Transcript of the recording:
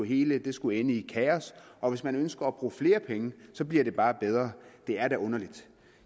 hele skulle ende i kaos og hvis man ønsker at bruge flere penge bliver det bare bedre det er da underligt